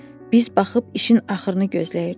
Biz baxıb işin axırını gözləyirdik.